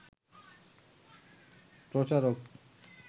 প্রচারক